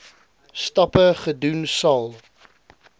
stappe gedoen sal